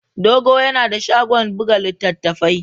Dogo yana da shagon buga littattafai.